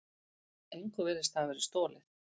Engu virtist hafa verið stolið.